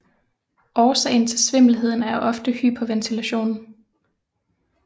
Årsagen til svimmelheden er ofte hyperventilation